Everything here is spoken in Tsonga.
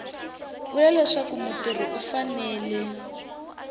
vula leswaku mutirhi u fanele